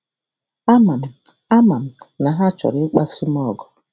Ama m Ama m na ha um chọrọ ịkpasu m ọgụ.